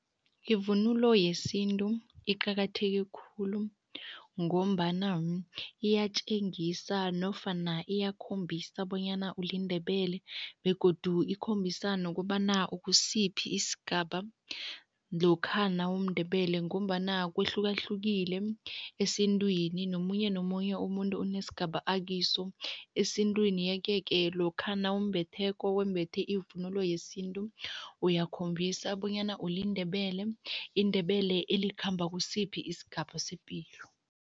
Ivunulo yesintu iqakatheke khulu ngombana iyatjengisa nofana iyakhombisa bonyana uliNdebele begodu ikhombisa nokobana ukusiphi isigaba lokha nawumNdebele ngombana kuhlukahlukile esintwini, nomunye nomunye umuntu unesigaba akiso esintwini yeke-ke lokha nawumbetheko, wembethe ivunulo yesintu, uyakhombisa bonyana uliNdebele, iNdebele elikhamba kusiphi isigaba sepilo.